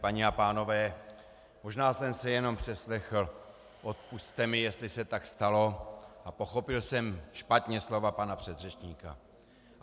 Paní a pánové, možná jsem se jenom přeslechl, odpusťte mi, jestli se tak stalo, a pochopil jsem špatně slova pana předřečníka.